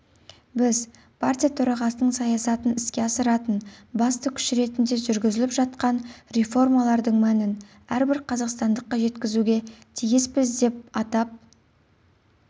біз партия төрағасының саясатын іске асыратын басты күш ретінде жүргізіліп жатқан реформалардың мәнін әрбір қазақстандыққа жеткізуге тиіспіз деп атап